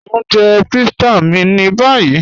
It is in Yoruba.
Mọ̀ ń jẹ̀ pítsà mí ní báyì